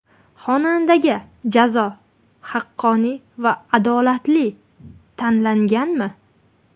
Xonandaga jazo haqqoniy va adolatli tanlanganmi?